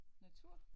Natur